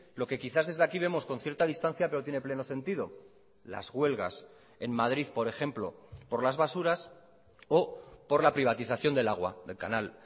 lo que quizás desde aquí vemos con cierta distancia pero tiene pleno sentido las huelgas en madrid por ejemplo por las basuras o por la privatización del agua del canal